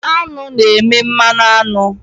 Aṅụ na-eme mmanụ aṅụ.